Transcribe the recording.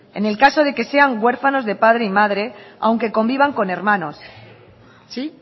en el caso de que sean huérfanos de padre y madre aunque convivan con hermanos sí